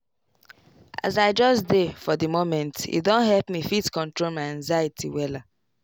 as i just dey for di momente don help me fit control my anxiety wella.